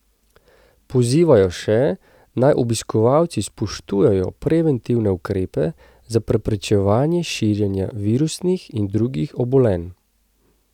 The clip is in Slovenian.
Pozivajo še, naj obiskovalci spoštujejo preventivne ukrepe za preprečevanje širjenja virusnih in drugih obolenj.